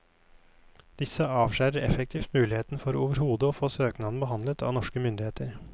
Disse avskjærer effektivt muligheten for overhodet å få søknaden behandlet av norske myndigheter.